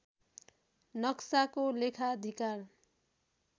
नक्साको लेखाधिकार